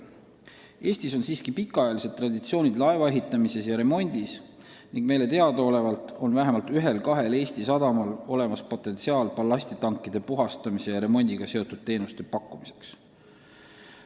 Eestil on siiski pikaajalised traditsioonid laevaehituses ja -remondis ning meile teadaolevalt on vähemalt ühel-kahel sadamal olemas potentsiaal ballastitankide puhastamise ja remondiga seotud teenuste pakkumiseks.